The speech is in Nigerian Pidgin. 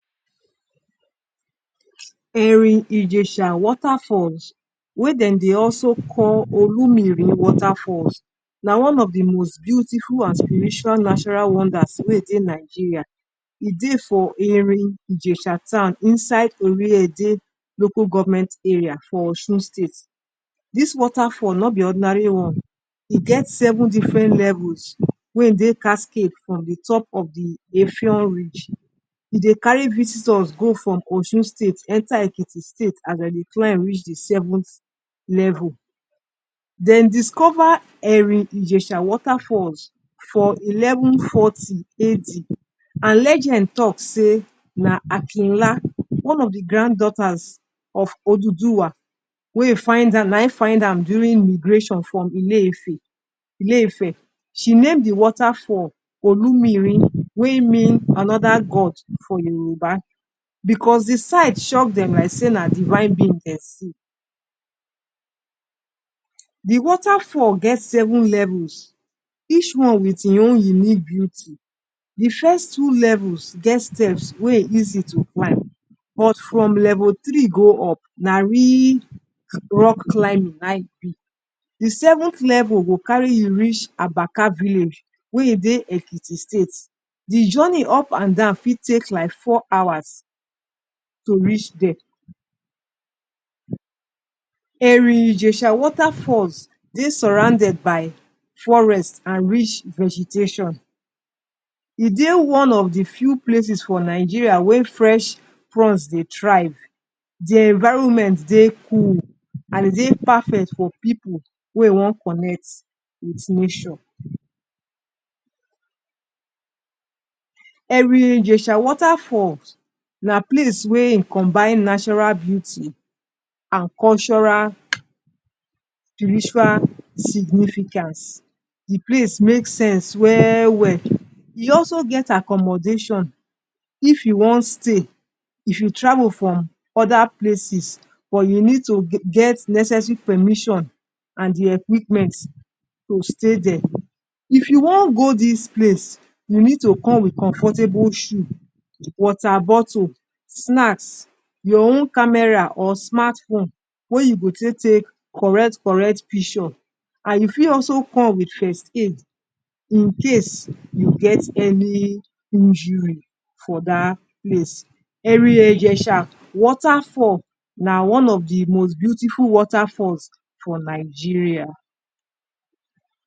Eri-ijesha water falls wey dem dey also call Olumiri waterfalls na one of de most beautiful and spiritual natural wonders wey dey Nigeria. E dey for Eri-ijesha town inside Eriede local government area for Osun state. Dis water fall no be ordinary one, e get seven different levels wey dey? for de top of Efiong bridge. E dey carry visitors go from Osun state enter Ekiti state and dem dey climb reach de seventh level. Dem discover Eri-ijesha waterfall for eleven forty AD and legend talk say na Akinla one of de granddaughters of Oduduwa wey find am, na im find am during immigration from Ile-Ife Ile-Ife, she name de waterfall 'Olumiri' wey mean another god for Yoruba because de sight shock like sey na divine being dem see. De waterfall get seven levels each one wit im own unique beauty. De first two levels get steps wey easy to climb but from level three go up na real rock climbing na im be. De seventh level go carry you reach abaka village wey dey Ekiti state, de journey up and down fit take like four hours to reach there. Eri-ijesha waterfall dey surrounded by forest and rich vegetation, e dey one of de few places for Nigeria wey fresh crops dey thrive, de environment dey cool and dey perfect for pipu wey one connect with nature. Eri-ijesha waterfall na place wey e combine natural beauty and cultural spiritual significance. De place make sense well well. E also get accommodation, if you wan stay, if you travel from other places but you need to get necessary permission and de equipment to stay there. If you wan go dis place you need to come wit comfortable shoe, water bottle, snacks, your own camera or smart phone wey you go take take correct correct picture, and you fit also come wit first aid incase you get any injury for dat place. Eri-ijesha waterfall na one of de most beautiful waterfalls for Nigeria.